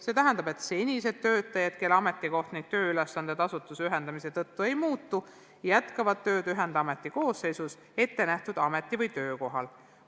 See tähendab, et senised töötajad, kelle ametikoht ja tööülesanded asutuste ühendamise tõttu ei muutu, jätkavad tööd ühendameti koosseisus ettenähtud ameti- või töökohal.